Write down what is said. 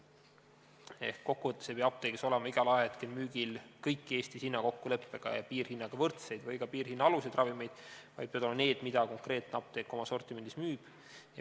Ehk kokku võttes ei pea apteegis olema igal ajahetkel müügil kõiki Eestis hinnakokkuleppega ja piirhinnaga võrdseid või ka piirhinna aluseid ravimeid, vaid peavad olema need, mida konkreetne apteek oma sortimendis müüb.